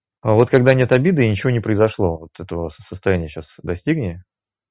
а вот когда нет обиды и ничего не произошло вот этого состояния сейчас достигни